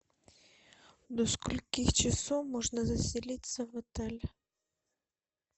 до скольки часов можно заселиться в отель